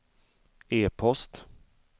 e-post